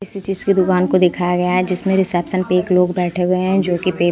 किसी चीज की दुकान को दिखाया गया है जिसमें रिसेप्शन पे एक लोग बैठे हुए हैं जो कि--